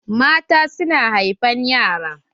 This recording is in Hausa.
Mata su na haifan yara.